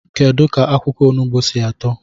Kedu ka akwukwo onugbu si eto?